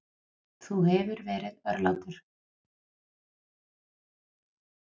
Þú hefur verið örlátur.